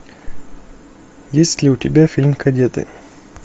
есть ли у тебя фильм кадеты